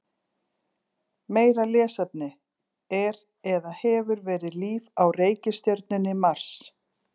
Meira lesefni: Er eða hefur verið líf á reikistjörnunni Mars?